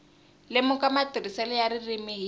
lemuka matirhiselo ya ririmi hi